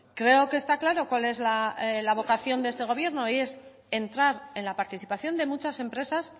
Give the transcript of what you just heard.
creo que está claro cuál es la vocación de este gobierno y es entrar en la participación de muchas empresas